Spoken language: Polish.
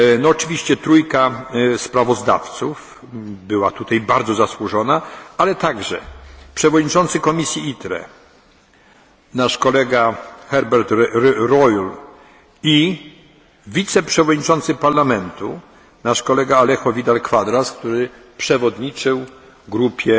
co robimy. Oczywiście trójka sprawozdawców była tutaj bardzo zasłużona, ale także przewodniczący komisji ITRE, nasz kolega Herbert Reul, i wiceprzewodniczący Parlamentu, nasz kolega Alejo Vidal Quadras, który przewodniczył